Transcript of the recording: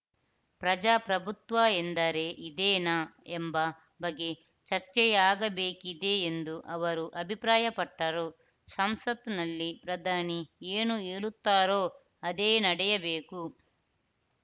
ಪ್ರಜಾಪ್ರಭುತ್ವ ಎಂದರೆ ಇದೇನಾ ಎಂಬ ಬಗ್ಗೆ ಚರ್ಚೆಯಾಗಬೇಕಿದೆ ಎಂದೂ ಅವರು ಅಭಿಪ್ರಾಯಪಟ್ಟರು ಸಂಸತ್‌ನಲ್ಲಿ ಪ್ರಧಾನಿ ಏನು ಹೇಳುತ್ತಾರೋ ಅದೇ ನಡೆಯಬೇಕು